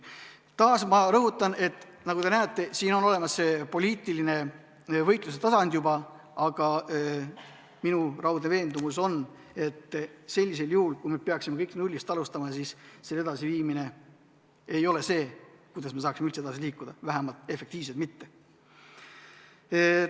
Taas ma rõhutan, et nagu te näete, siin on olemas juba poliitilise võitluse tasand, aga minu raudne veendumus on, et see, kui me peaksime kõike nullist alustama, ei ole see, mis aitaks meil üldse edasi liikuda, vähemalt efektiivselt mitte.